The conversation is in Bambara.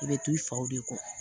I bɛ to i faw de kɔ